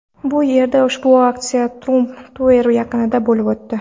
Bu yerda ushbu aksiya Trump Tower yaqinida bo‘lib o‘tdi.